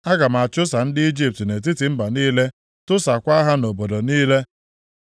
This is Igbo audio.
Aga m achụsa ndị Ijipt nʼetiti mba niile tụsaakwa ha nʼobodo niile,